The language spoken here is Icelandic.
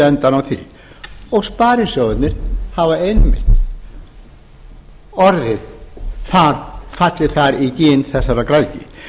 endann á því og sparisjóðirnir hafa einmitt fallið þar í gin þessarar græðgi